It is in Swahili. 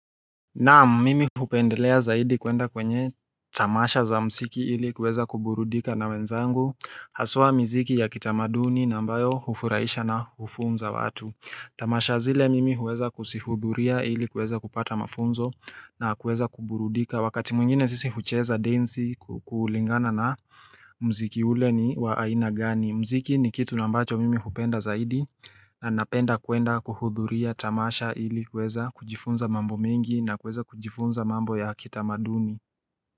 Naam, mimi hupendelea zaidi kwenda kwenye tamasha za muziki ili kuweza kuburudika na wenzangu Haswa miziki ya kitamaduni na ambayo hufurahisha na hufunza watu Tamasha zile mimi huweza kuzihudhuria ili kuweza kupata mafunzo na kuweza kuburudika Wakati mwingine sisi hucheza densi kulingana na mziki ule ni wa aina gani muziki ni kitu na ambacho mimi hupenda zaidi na napenda kwenda kuhudhuria tamasha ili kuweza kujifunza mambo mengi na kuweza kujifunza mambo ya kitamaduni.